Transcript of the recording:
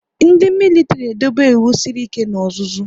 Ndị militiri na edobe ịwụ sịrị ike na ọzụzụ